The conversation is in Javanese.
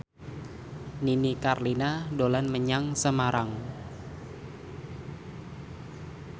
Nini Carlina dolan menyang Semarang